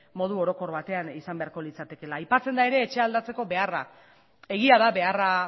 modu orokor batean izan beharko litzatekeela aipatzen da ere etxea aldatzeko beharra egia da beharra